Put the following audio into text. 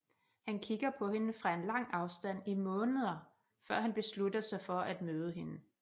Han kigger på hende fra en lang afstand i månder før han beslutter sig for at møde hende